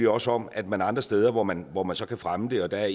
også om at man andre steder hvor man hvor man så kan fremme det og der